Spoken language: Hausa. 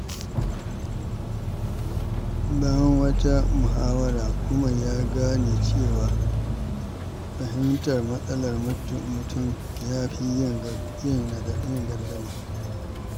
Bayan wata muhawara, Umar ya gane cewa fahimtar matsalar mutum ya fi yin gardama.